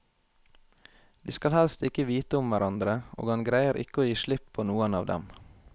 De skal helst ikke vite om hverandre, og han greier ikke å gi slipp på noen av dem.